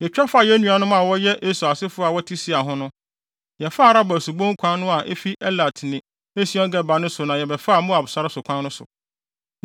Yetwa faa yɛn nuanom a wɔyɛ Esau asefo a wɔte Seir ho no. Yɛfaa Araba subon kwan no a efi Elat ne Esion-Geber no so na yɛbɛfaa Moab sare so kwan no so.